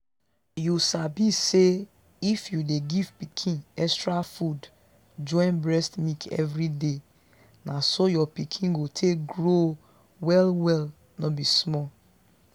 you sabi say if you dey give pikin extra food join breast milk everyday na so your pikin go take grow well well no be small.